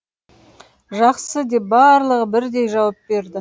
жақсы деп барлығы бірдей жауап берді